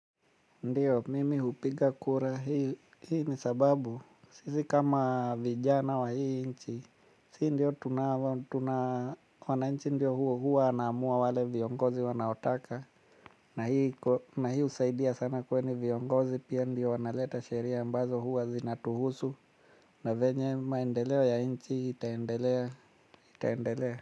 Ndio, mimi hupiga kura, hii ni sababu, sisi kama vijana wa hii nchi, sii ndio tunafaa, tuna, wananchi ndio huo huwa wanaamua wale viongozi wanaotaka, na hii husaidia sana kwani viongozi pia ndio wanaleta sheria ambazo huwa zinatuhusu, na venye maendeleo ya nchi itaendelea, itaendelea.